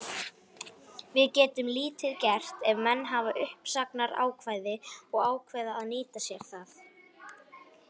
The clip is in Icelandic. Við getum lítið gert ef menn hafa uppsagnarákvæði og ákveða að nýta sér það.